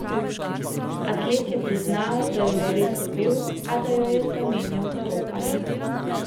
Atlet je priznal, da jo je res ubil, a da jo je zamenjal za roparja.